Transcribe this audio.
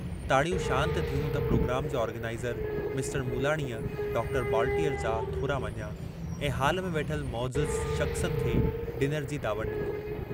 ताड़ियूं शान्त थियूं त प्रोग्राम जे आर्गनाईज़र मिस्टर मूलाणीअ डॉक्टर बॉलटीअर जा थोरा मञिया ऐं हाल में वेठल मौजिज़ शख़्सन खे डिनर जी दावत डिनी।